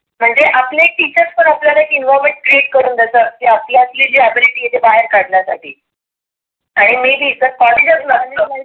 म्हणजे आपले टीचर्स पण आपल्याला एक environment create करून देतात. की आपल्यातली जी ability आहे ती बाहेर काढण्यासाठी. आणि मी जे जास्त